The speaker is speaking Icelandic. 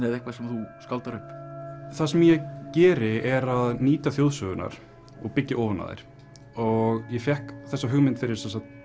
eða eitthvað sem þú skáldar upp það sem ég geri er að nýta þjóðsögurnar og byggja ofan á þær og ég fékk þessa hugmynd fyrir